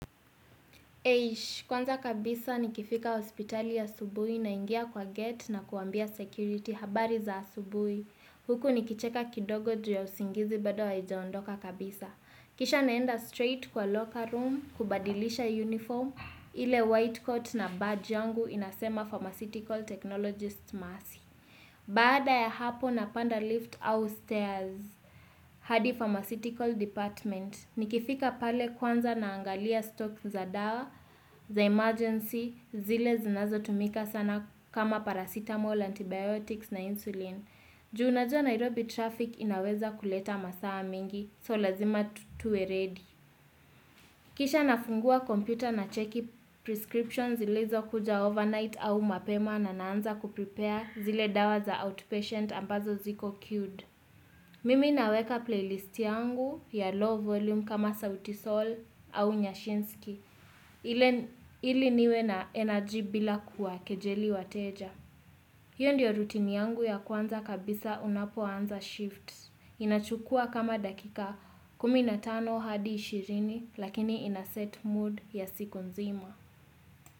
Kwanza kabisa nikifika hospitali asubuhi naingia kwa gate na kuambia security habari za asubuhi. Huku nikicheka kidogo juu ya usingizi bado haijaondoka kabisa. Kisha naenda straight kwa locker room, kubadilisha uniform. Ile white coat na badge yangu inasema pharmaceutical technologist mazee. Baada ya hapo napanda lift au stairs. Hadi pharmaceutical department. Nikifika pale kwanza naangalia stock za dawa, za emergency, zile zinazo tumika sana kama paracetamol, antibiotics na insulin. Juu unajua Nairobi traffic inaweza kuleta masaa mengi, so lazima tuwe ready. Kisha nafungua kompyuta na check prescriptions ilizokuja overnight au mapema na naanza kuprepare zile dawa za outpatient ambazo ziko queued. Mimi naweka playlist yangu ya low volume kama sauti sol au nyashinski, ili niwe na energy bila kuwakejeli wateja. Hiyo ndio routine yangu ya kwanza kabisa unapoanza shifts. Inachukua kama dakika kumi na tano hadi ishirini lakini inaset mood ya siku nzima.